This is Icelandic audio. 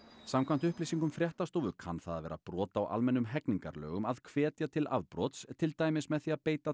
samkvæmt upplýsingum fréttastofu kann það að vera brot á almennum hegningarlögum að hvetja til afbrots til dæmis með því að beita